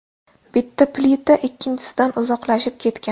Bitta plita ikkinchisidan uzoqlashib ketgan.